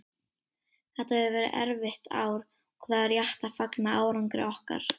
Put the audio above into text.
Þetta hefur verið erfitt ár og það er rétt að fagna árangri okkar.